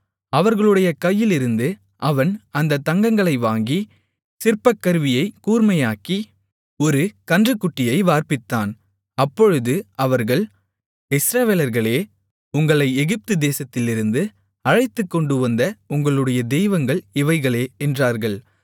அவர்களுடைய கையிலிருந்து அவன் அந்தப் தங்கங்களை வாங்கி சிற்பக்கருவியைக் கூர்மையாக்கி ஒரு கன்றுக்குட்டியை வார்ப்பித்தான் அப்பொழுது அவர்கள் இஸ்ரவேலர்களே உங்களை எகிப்துதேசத்திலிருந்து அழைத்துக்கொண்டுவந்த உங்களுடைய தெய்வங்கள் இவைகளே என்றார்கள்